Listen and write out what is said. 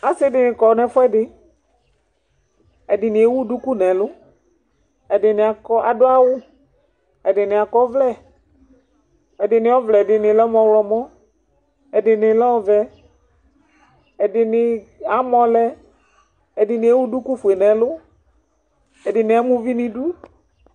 Asi di ni kɔ n'ɛfuɛdi Ɛdini ewu duku nɛlʋ, ɛdini akɔ, adʋ awʋ, ɛdini akɔ ɔvlɛ, ɛdini ayɔ vlɛ ɛdini lɛ mʋ ɔyɔmɔ, ɛdini lɛ ɔvɛ, ɛdini amɔ lɛ, ɛdini ewu duku fue nʋ ɛlʋ, ɛdini ama uvi nidu